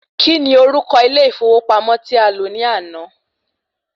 Kí ni orúko ilé ìfọwọ́pamọ́ tí a lọ ní àná?